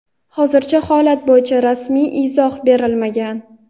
hozircha holat bo‘yicha rasmiy izoh berilmagan.